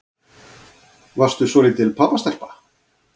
Varstu svolítil pabbastelpa?